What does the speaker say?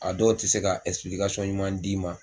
A dɔw tɛ se ka ɲuman d'i ma.